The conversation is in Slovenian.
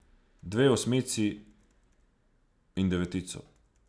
Dve osmici in devetico.